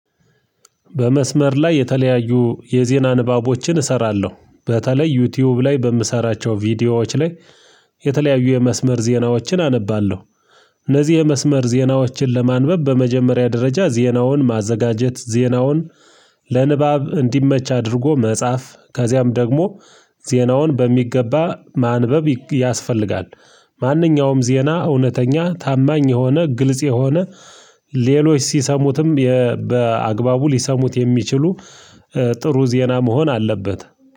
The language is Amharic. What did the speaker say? በመስመር ላይ የተለያዩ የዜና ንባቦችን እሰራለሁ በተለይ ዩቲዩብ ላይ በምሰራቸው ቪዲዮዎች ላይ የተለያዩ የመስመር ዜናዎችን አነባለሁ። እነዚህ የመስመር ዜናዎችን ለማንበብ በመጀመሪያ ደረጃ ዜናውን ማዘጋጀት ዜናውን ለንባብ እንዲመች አድርጎ መጻፍ ከዚያም ደግሞ ዜናውን በሚገባ ማንበብ ያስፈልጋል፤። ማንኛውም ዜና እውነተኛ ታማኝ የሆነ ግልጽ የሆነ ሌሎች ሲሰሙትም በአግባቡ ሊሰሙት የሚችሉ ጥሩ ዜና መሆን አለበት፤